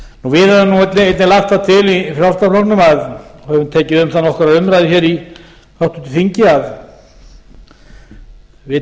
við höfum nú einnig lagt það til í frjálslynda flokknum og höfum tekið um það nokkra umræðu hér í háttvirtri þingi að við